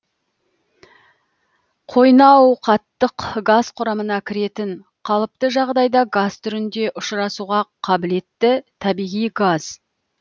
қойнауқаттық газ құрамына кіретін қалыпты жағдайда газ түрінде ұшырасуға қабілетті табиғи газ